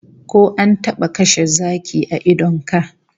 Ko an taba kashe zaki a idon ka?